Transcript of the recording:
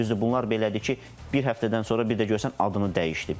Düzdür, bunlar belədir ki, bir həftədən sonra bir də görürsən adını dəyişdi.